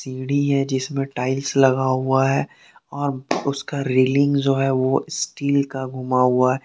सीढ़ी हैं जिसमे टाइल्स लगा हुआ हैं और उसका रेलिंग जो स्टील का घुमा हुआ--